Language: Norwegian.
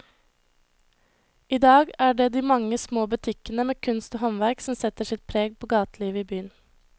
I dag er det de mange små butikkene med kunst og håndverk som setter sitt preg på gatelivet i byen.